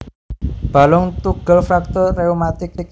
Balung tugel fraktur rheumatik